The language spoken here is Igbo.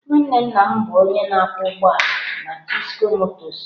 Nwanne nna m bụ onye ọkwọ ụgbọ ala na Chisco motors.